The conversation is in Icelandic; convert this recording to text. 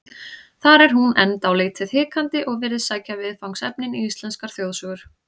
Þar er hún enn dálítið hikandi og virðist sækja viðfangsefnin í íslenskar þjóðsögur.